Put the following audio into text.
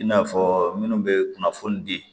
I n'a fɔ minnu bɛ kunnafoni di